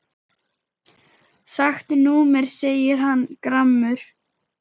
Skakkt númer segir hann gramur.